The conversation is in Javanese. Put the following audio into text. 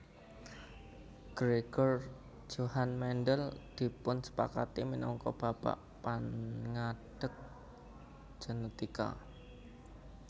Gregor Johann Mendel dipunsepakati minangka Bapak Pangadeg Genetika